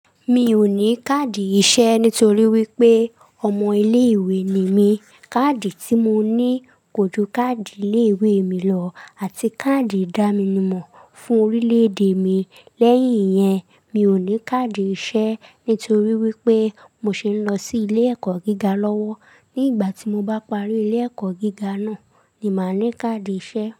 Mi ò ní káàdì iṣẹ́ nítorí wípé ọmọ ilé ìwé ni mí. Káàdì tí mo ní ko ju káàdì ilé ìwé mi lọ àti káàdì ìdánimọ̀ fún orílẹ̀-èdè mi. Lẹ́yìn yẹn, mi ò ní káàdì iṣẹ́ nítorí wípé mo ṣi lọ sí ilé ẹ̀kọ́ gíga lọ́wọ́. Ní ìgbà tí mo bá parí ilé ẹ̀kọ́ gíga náà ni màá ní káàdì iṣẹ́.